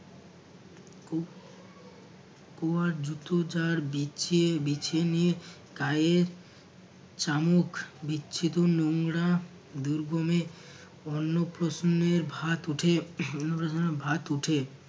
war জুতো যার বিছিয়ে বিছিয়ে নিয়ে গায়ে চামুক বিচ্ছিত নোংরা দূর্গমে অন্য প্রসন্নের ভাত উঠে অন্ন প্রসন্নের ভাত উঠে